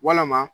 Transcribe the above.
Walama